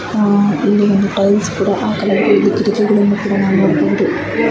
ಅಹ್ ಇಲ್ಲಿ ಟೈಲ್ಸ್ ಕೂಡ ಆಕಳಾಗಿದೆ ಇಲ್ಲಿ ಕಿಟಕಿ ಗಳನ್ನೂ ಕೂಡ ನೋಡಬಹುದು .